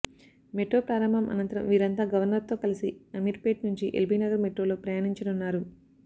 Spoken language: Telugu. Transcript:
మెట్రో ప్రారంభం అనంతరం వీరంతా గవర్నర్తో కలిసి అమీర్పేట్ నుంచి ఎల్బీనగర్ మెట్రోలో ప్రయాణించనున్నారు